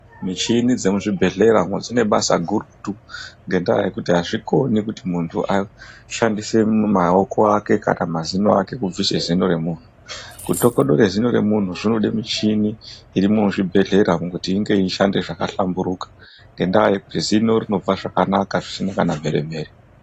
Michini dzemuzvibhedhlera dzine basa gurutu ngendaa yekuti azvikoni kuti munthu ashandise maoko ake kana mazino ake kubvise zino remunthu kutokodore zino remunthu zvinode michini iri muzvibhedhlera umu kuti inge yeishanda zvakahlamburuka ngendaa yekuti zino rinobva zvakanaka zvisina kana mhere mhere.